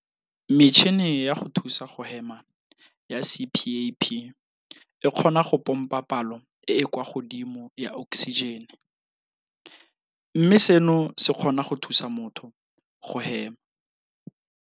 Metšhini ya go thusa go hema ya CPAP e kgona go pompa palo e e kwa godimo ya oksijene, mme seno se kgona go thusa motho go hema.